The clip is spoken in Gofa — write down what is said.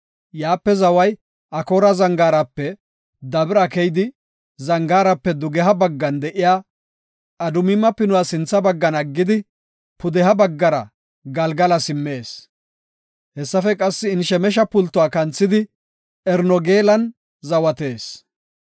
Yaape zaway Akoora Zangaarape Dabira keyidi, zangaarape dugeha baggan de7iya Adumima Pinuwa sintha baggan aggidi pudeha baggara Galgala simmees. Hessafe qassi Enshemeshe pultuwa kanthidi, Enrogeelan zawatees.